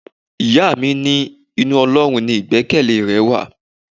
Ìyá mi ní inú Ọlọ́run ni igbekele rẹ wà.